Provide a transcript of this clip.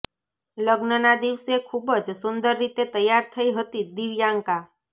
લગ્નના દિવસે ખૂબ જ સુંદર રીતે તૈયાર થઈ હતી દિવ્યાંકા